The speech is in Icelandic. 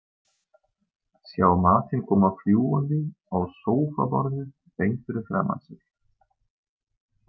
Sjá matinn koma fljúgandi á sófaborðið beint fyrir framan sig.